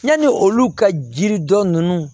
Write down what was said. Yanni olu ka jiri dɔ ninnu